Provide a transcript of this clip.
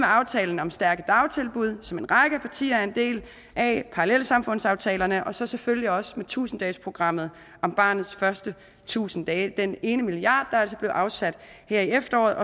aftalen om stærke dagtilbud som en række partier er en del af parallelsamfundsaftalerne og så selvfølgelig også med tusind dages programmet om barnets første tusind dage hvor den ene milliard kr altså blev afsat her i efteråret